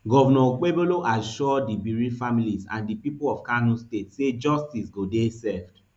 govnor okpebholo assure di bereaved families and di pipo of kano state say justice go dey served